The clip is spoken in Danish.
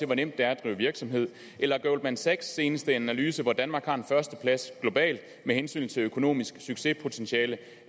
hvor nemt det er at drive virksomhed eller goldman sachs seneste analyse hvorefter danmark har førstepladsen globalt med hensyn til økonomisk succespotentiale